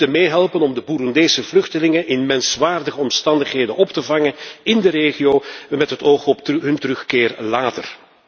We moeten meehelpen om de Boeroendese vluchtelingen in menswaardige omstandigheden op te vangen in de regio, met het oog op hun terugkeer later.